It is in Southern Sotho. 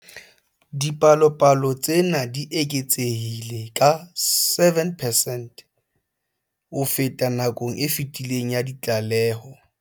Dipalopalo tsena di eketsehile ka 7 percent ho feta nakong e fetileng ya ditlaleho.